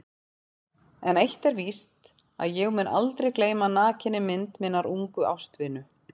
En eitt er víst að ég mun aldrei gleyma nakinni mynd minnar ungu ástvinu.